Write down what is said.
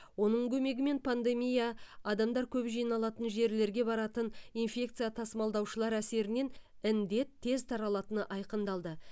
оның көмегімен пандемия адамдар көп жиналатын жерлерге баратын инфекция тасымалдаушылар әсерінен індет тез таралатыны айқындалды